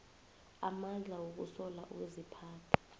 amandla wokusola ukuziphatha